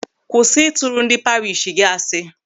Kwụsị ịtụrụ ndị parish gị asị!